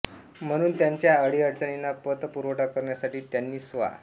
म्हणून त्यांच्या आडीअडचणींना पत पुरवठा करण्यासाठी त्यांनी स्वा